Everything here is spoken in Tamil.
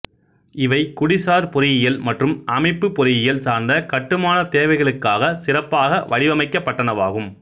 இவை குடிசார் பொறியியல் மற்றும் அமைப்புப் பொறியியல் சார்ந்த கட்டுமானத் தேவைகளுக்காகச் சிறப்பாக வடிவமைக்கப்பட்டனவாகும்